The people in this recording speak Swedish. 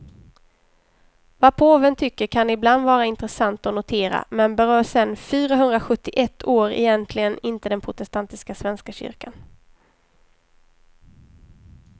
Vad påven tycker kan ibland vara intressant att notera, men berör sen fyrahundrasjuttioett år egentligen inte den protestantiska svenska kyrkan.